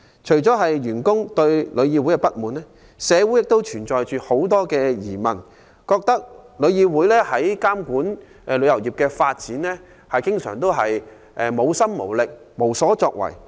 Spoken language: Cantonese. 除了員工對旅議會不滿，社會亦存在很多疑問，認為旅議會在監管旅遊業的發展上經常無心無力、無所作為。